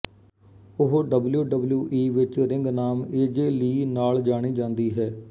ਉਹ ਡਬਲਯੂਡਬਲਯੂਈ ਵਿੱਚ ਰਿੰਗ ਨਾਮ ਏਜੇ ਲੀ ਨਾਲ ਜਾਣੀ ਜਾਂਦੀ ਹੈ